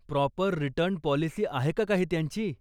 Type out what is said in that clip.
Proper return policy आहे का काही त्यांची?